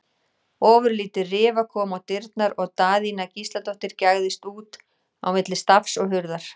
Ofurlítil rifa kom á dyrnar og Daðína Gísladóttir gægðist út á milli stafs og hurðar.